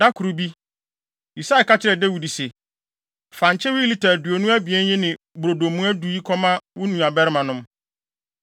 Da koro bi, Yisai ka kyerɛɛ Dawid se, “Fa nkyewe lita aduonu abien yi ne brodo mua du yi kɔma wo nuabarimanom.